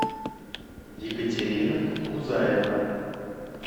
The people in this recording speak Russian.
екатерина гузаева